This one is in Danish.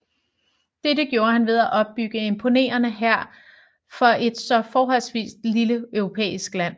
Dette gjorde han ved at opbygge en imponerende hær for et så forholdsvis lille europæisk land